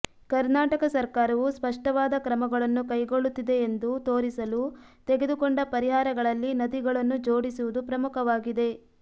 ಕರ್ನಾಟಕ ಸರ್ಕಾರವು ಸ್ಪಷ್ಟವಾದ ಕ್ರಮಗಳನ್ನು ಕೈಗೊಳ್ಳುತ್ತಿದೆ ಎಂದು ತೋರಿಸಲು ತೆಗೆದುಕೊಂಡ ಪರಿಹಾರಗಳಲ್ಲಿ ನದಿಗಳನ್ನು ಜೋಡಿಸುವುದು ಪ್ರಮುಖವಾಗಿದೆ